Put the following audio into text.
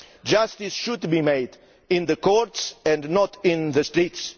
Justice should be done in the courts and not on the streets.